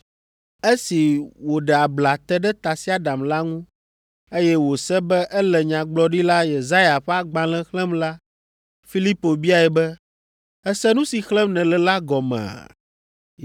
Esi wòɖe abla te ɖe tasiaɖam la ŋu, eye wòse be ele Nyagblɔɖila Yesaya ƒe agbalẽ xlẽm la, Filipo biae be, “Èse nu si xlẽm nèle la gɔmea?”